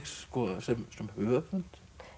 sem höfund